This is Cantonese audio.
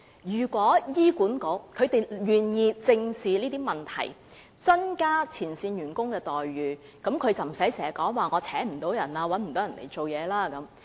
如果醫管局願意正視這些問題，增加前線員工的待遇，便不會出現聘請不到員工的問題。